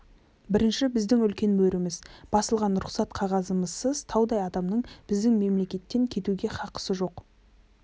бірінші біздің үлкен мөріміз басылған рұқсат қағазымызсыз таудай адамның біздің мемлекеттен кетуге хақысы жоқ